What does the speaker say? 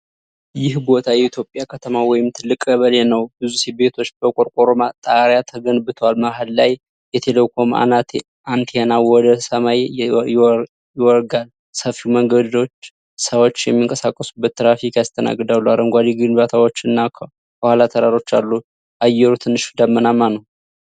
ይህ ቦታ የኢትዮጵያ ከተማ ወይም ትልቅ ቀበሌ ነው። ብዙ ቤቶች በቆርቆሮ ጣሪያ ተገንብተዋል። መሃል ላይ የቴሌኮም አንቴና ወደ ሰማይ ይወጋል። ሰፋፊ መንገዶች ሰዎች የሚንቀሳቀሱበት ትራፊክ ያስተናግዳሉ። አረንጓዴ ግንባታዎች እና ከኋላ ተራሮች አሉ። አየሩ ትንሽ ዳመናማ ነው።